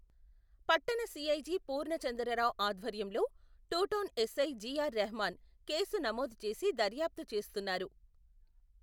పట్టణ సిఐ జి.పూర్ణచంద్రరావ్ ఆధ్వర్యంలో, టూటౌన్ ఎస్సై జి.ఆర్. రెహమాన్, కేసు నమోదు చేసి దర్యాప్తు చేస్తున్నారు.